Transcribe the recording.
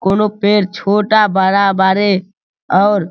कोनो पेड़ छोटा-बड़ा बारे और --